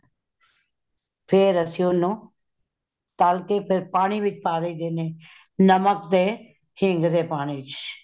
ਫੇਰ ਅਸੀਂ ਓਨੁ , ਤਾਲ ਕੇ ਪਾਣੀ ਵਿੱਚ ਪਾ ਦਇ ਦੇ ਨੇ , ਨਮਕ ਦੇ ਹਿੰਗ ਦੇ ਪਾਣੀ ਵਿਚ